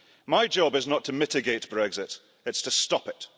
My job is not to mitigate Brexit, it's to stop it.